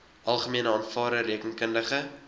algemene aanvaarde rekeningkundige